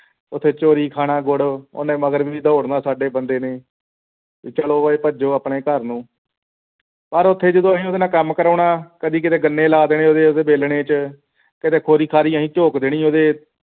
ਉਠੇ ਚੋਰੀ ਖਾਨਾ ਗੁੜ ਉਹਨੇ ਮਗਰ ਦੌੜਨਾ ਸਾਡੇ ਬੰਦੇ ਨੇ ਚਲ ਓਏ ਭੱਜੋਂ ਆਪਣੇ ਘਰ ਨੂੰ ਪਰ ਓਥੇ ਜਦੋਂ ਅਸੀਂ ਉਸਦੇ ਨਾਲ ਕੰਮ ਕਰਵਾਉਣਾ ਕਦੀ ਕਿੱਥੇ ਗੰਨੇ ਲਗਾ ਦੇਣੀ ਉਸ ਦੇ ਵੇਲਣੇ ਵਿੱਚ ਕਿੱਥੇ ਖੋਰੀ ਖਾਰੀ ਅਸੀਂ ਚੌਕ ਦੇਣੀ ਓਹਦੇ